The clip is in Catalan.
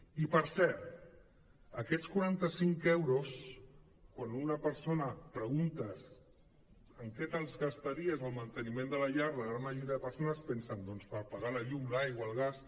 i per cert aquests quaranta·cinc euros quan a una persona li preguntes en què te’ls gastaries al manteniment de la llar la gran majoria de persones pensen doncs per pagar la llum l’aigua el gas